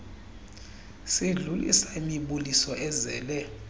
sidlulisa imibuliso ezele